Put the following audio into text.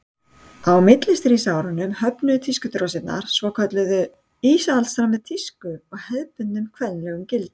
á millistríðsárunum höfnuðu tískudrósirnar svokölluðu íhaldssamri tísku og hefðbundnum kvenlegum gildum